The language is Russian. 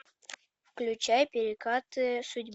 включай перекаты